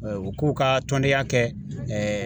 U k'u ka tɔndenya kɛ .